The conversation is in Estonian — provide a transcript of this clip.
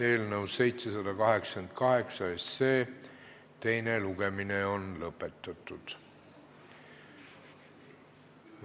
Eelnõu 788 teine lugemine on lõpetatud.